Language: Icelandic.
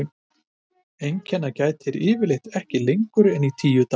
Einkenna gætir yfirleitt ekki lengur en í tíu daga.